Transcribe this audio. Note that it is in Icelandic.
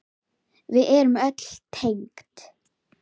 Við erum öll tengd.